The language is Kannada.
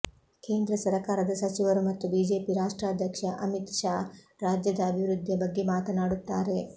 ಕೇಂದ್ರ ಸರಕಾರದ ಸಚಿವರು ಮತ್ತು ಬಿಜೆಪಿ ರಾಷ್ಟ್ರಾಧ್ಯಕ್ಷ ಅಮಿತ್ ಶಾ ರಾಜ್ಯದ ಅಭಿವೃದ್ಧಿಯ ಬಗ್ಗೆ ಮಾತನಾಡುತ್ತಾರೆ